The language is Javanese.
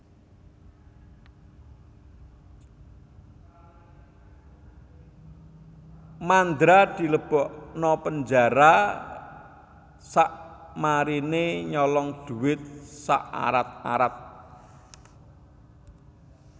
Mandra dilebokno penjara sakmarine nyolong duit sak arat arat